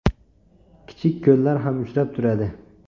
Kichik ko‘llar ham uchrab turadi.